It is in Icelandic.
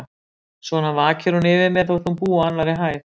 Svona vakir hún yfir mér, þótt hún búi á annarri hæð.